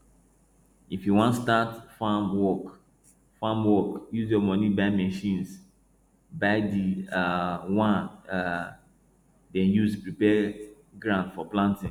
if you want start farm work farm work use your money buy machines buy the um one um dem use prepare ground for planting